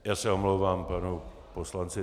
Já se omlouvám panu poslanci